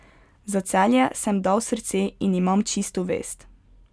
Za Celje sem dal srce in imam čisto vest.